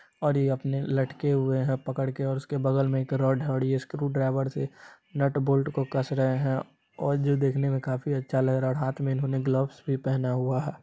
और ये अपने लटके हुए है पकड़ के और उसके बगल मे एक रड है स्क्रू ड्राइवर से नट बोल्ट को कस रहे है और जो देखने मे काफी अच्छा लग रहा है और हाथ में इन्होंने ग्लव्स भी पहना हुआ है।